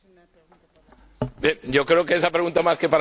Yo creo que esa pregunta más que para mí debería ser para la Comisión.